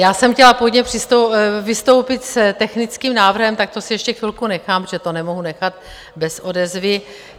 Já jsem chtěla původně vystoupit s technickým návrhem, tak to si ještě chvilku nechám, protože to nemohu nechat bez odezvy.